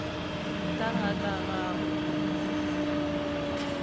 ka ga ka ga go